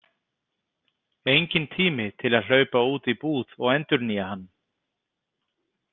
Enginn tími til að hlaupa út í búð og endurnýja hann.